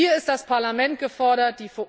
Hier ist das Parlament gefordert.